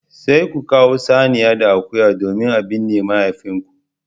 Sai ku kawo saniya da akuya domin a binne mahaifinku